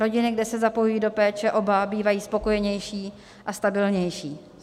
Rodiny, kde se zapojují do péče oba, bývají spokojenější a stabilnější.